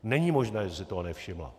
Není možné, že si toho nevšimla.